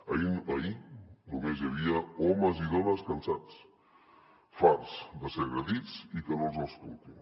ahir només hi havia homes i dones cansats farts de ser agredits i que no els escoltin